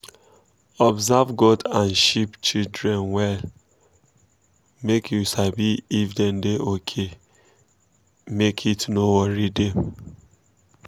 observe goat and sheep children wella make you sabi if dem da okay make heat no worry dem